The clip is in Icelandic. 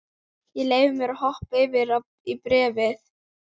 Ég leyfi mér að hoppa yfir í bréfið.